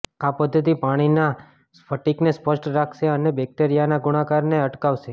આ પદ્ધતિ પાણીના સ્ફટિકને સ્પષ્ટ રાખશે અને બેક્ટેરિયાના ગુણાકારને અટકાવશે